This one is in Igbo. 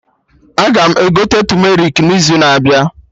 Aga m egote tumerik n'izu na abịa